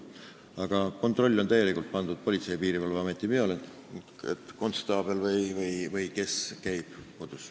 Aga kontroll on täielikult pandud Politsei- ja Piirivalveameti peale, konstaabel või keegi teine käib kodus.